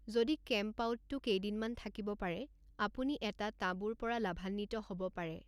যদি কেম্পআউটটো কেইদিনমান থাকিব পাৰে, আপুনি এটা তাঁবুৰ পৰা লাভান্বিত হ'ব পাৰে।